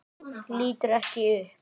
Lítur ekki upp.